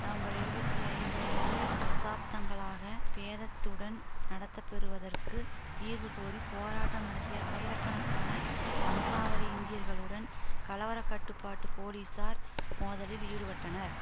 November இருபத்தி ஐந்து அன்று தசாப்தங்களாக பேதத்துடன் நடத்தப்பெறுவதற்கு தீர்வு கோரி போராட்டம் நடத்திய ஆயிரக்கணக்கான வம்சாவளி இந்தியர்களுடன் கலவர கட்டுப்பாட்டு போலிசார் மோதலில் ஈடுபட்டனர்